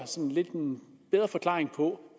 en bedre forklaring på